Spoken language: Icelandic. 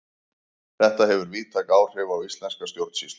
þetta hefur víðtæk áhrif á íslenska stjórnsýslu